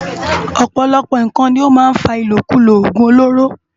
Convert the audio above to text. Òpòlòpò nkán ló má n fá ilókúló ógún ólóró